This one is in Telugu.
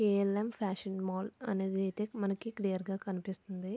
కే ఎల్ ఎమ్ ఫ్యాషన్ మాల్ అయితే మనకి క్లియర్ గ కనిపిస్తుంది.